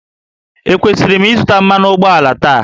Ekwesịrị m ịzụta mmanụ ụgbọala taa?